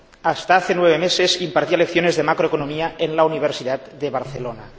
hasta hace nueve meses impartía lecciones de Macroeconomía en la Universidad de Barcelona.